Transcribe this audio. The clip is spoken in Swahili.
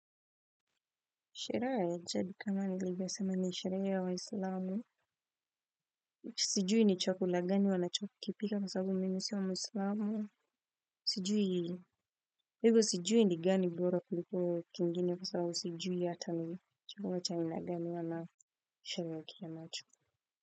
Sherehe ya jadi kama nivyo sema ni sherehe ya wa islamu. Sijui ni chakula gani wanachokipika kwa sababu mimi sio muislamu. Sijui hivyo sijui nigani bora kuliko kingine kwa sababu sijui hata ni chakula cha aina gani wana sherekea nacho.